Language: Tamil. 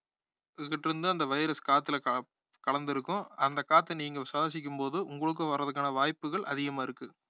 கிட்ட இருந்து அந்த virus காத்துல கல~ கலந்திருக்கும் அந்த காத்தை நீங்க சுவாசிக்கும் போது உங்களுக்கும் வர்றதுக்குகான வாய்ப்புகள் அதிகமா இருக்கு